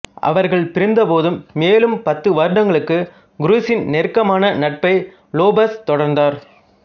அவர்கள் பிரிந்தபோதும் மேலும் பத்து வருடங்களுக்கு குரூஸின் நெருக்கமான நட்பை லோபஸ் தொடர்ந்தார்